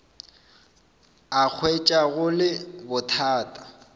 a hwetša go le bothata